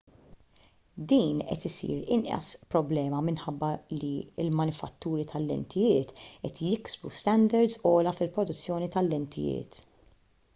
din qed issir inqas problema minħabba li l-manifatturi tal-lentijiet qed jiksbu standards ogħla fil-produzzjoni tal-lentijiet